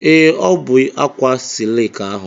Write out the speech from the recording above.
Ee, ọ ya bụ ákwà silki ahụ.